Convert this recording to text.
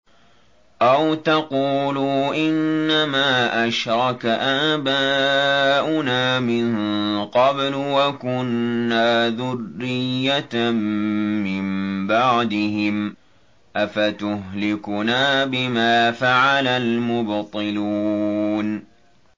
أَوْ تَقُولُوا إِنَّمَا أَشْرَكَ آبَاؤُنَا مِن قَبْلُ وَكُنَّا ذُرِّيَّةً مِّن بَعْدِهِمْ ۖ أَفَتُهْلِكُنَا بِمَا فَعَلَ الْمُبْطِلُونَ